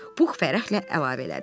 Pux fərəhlə əlavə elədi.